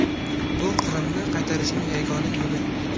Bu Qrimni qaytarishning yagona yo‘li”.